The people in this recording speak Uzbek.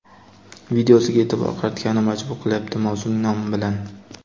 videosiga e’tibor qaratgani majbur qilyapti mavzuning nomi bilan.